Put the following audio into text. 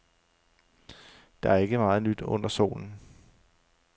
Der er ikke meget nyt under solen.